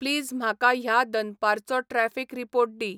please म्हाका ह्या दनपारचो ट्रॅफिक रीपोर्ट दी